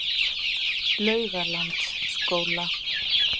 Laugalandsskóla